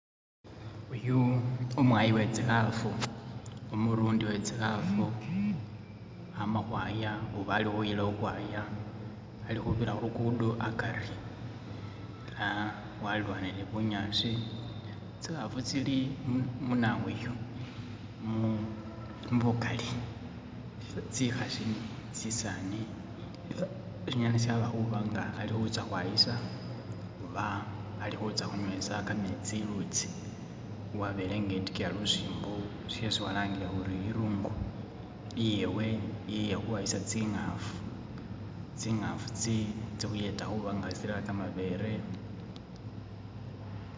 Uyu umwayi we tsikhafu, umurundi we tsikhafu ama khwaya oba ali khuyila ukhwaya, ali khubira khu lukudo akari. Ah walilwanile ni bunyaasi, tsikhafu tsili mu munawoyu mu mubukali tsikhasi, tsisaani ifa shinyala shaba khuba nga ali khutsya khwayisa oba ali khutsya khunywesa kametsi ilutsi. Wabele nge'etikiya lusimbo sisi khulangile khuri iluungu iyewe iye khukhwayisa tsingafu. Tsingafu tsikhuyeta khuba nga tsirera kamabele...